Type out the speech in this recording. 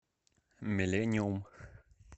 миллениум